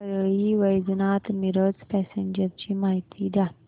Parli Vaijnath Miraj passenger ची माहिती द्या